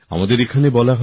আমাদের এখানে বলা হয়